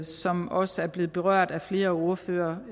som også er blevet berørt af flere ordførere